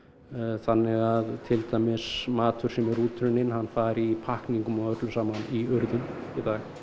þannig að til dæmis matur sem er útrunninn hann fari í pakkningu og öllu saman í urðun í dag